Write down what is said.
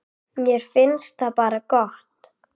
Mér finnst það bara gott.